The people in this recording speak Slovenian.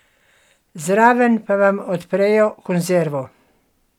Zraven pa vam odprejo konzervo.